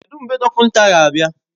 Kedụ mgbe dọkịnta ga-abịa?